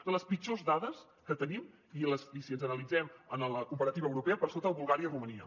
són les pitjors dades que tenim i si les analitzem en la comparativa europea per sota de bulgària i romania